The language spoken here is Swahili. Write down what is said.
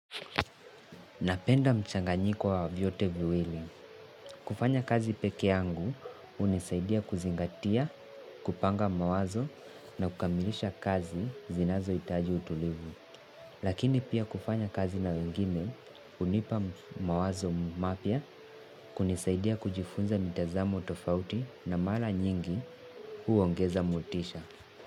Napenda mchanganyiko wa vyote viwili. Kufanya kazi pekeangu hunisaidia kuzingatia, kupanga mawazo na kukamilisha kazi zinazohitaji utulivu. Lakini pia kufanya kazi na wengine hunipa mawazo mapya kunisaidia kujifunza mitazamo tofauti na mara nyingi huongeza motisha.